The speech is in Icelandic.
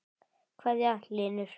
kveðja, Hlynur.